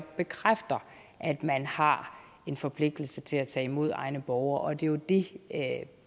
bekræfter at man har en forpligtelse til at tage imod egne borgere og det er jo det